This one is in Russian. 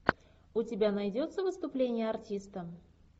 у тебя найдется выступление артиста